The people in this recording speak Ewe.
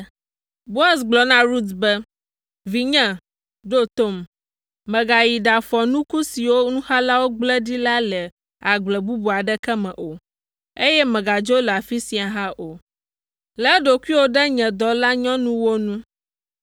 Boaz gblɔ na Rut be, “Vinye, ɖo tom; mègayi ɖafɔ nuku siwo nuxalawo gblẽ ɖi la le agble bubu aɖeke me o, eye mègadzo le afi sia hã o. Lé ɖokuiwò ɖe nye dɔlanyɔnuwo ŋu.